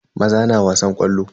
Maza na wasan ƙwallo.